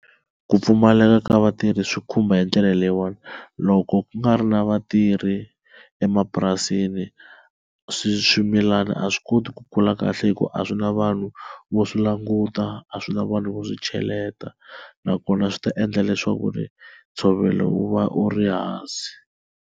Ku pfumaleka ka vatirhi swi khumba hi ndlela leyiwani loko ku nga ri na vatirhi emapurasini swimilana a swi koti ku kula kahle hi ku a swi na vanhu vo swi languta a swi na vanhu vo swi cheleta nakona swi ta endla leswaku ri ntshovelo wu va u ri hansi.